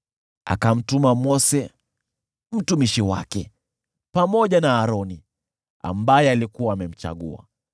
Akamtuma Mose mtumishi wake, pamoja na Aroni, aliyemchagua.